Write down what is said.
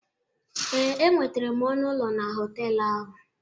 Ee, enwetere m ọnụ ụlọ na họtelụ ahụ.